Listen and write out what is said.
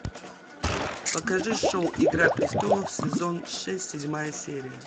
покажи шоу игра престолов сезон шесть седьмая серия